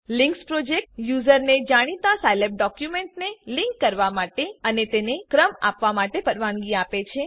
links project યુઝરને જાણીતા Scilab ડોક્યુમેન્ટને લિંક કરવા માટે અને તેમને ક્રમ આપવા માટે પરવાનગી આપે છે